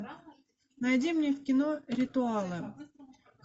найди мне кино ритуалы